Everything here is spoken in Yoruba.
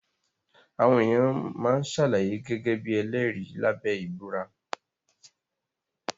Àwọn èèyàn máa ṣàlàyé gẹ́gẹ́ bí ẹlẹ́rìí lábẹ́ ìbúra